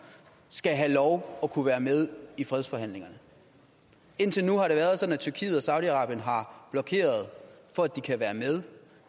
skal have lov at kunne være med i fredsforhandlingerne indtil nu har det været sådan at tyrkiet og saudi arabien har blokeret for at de kan være med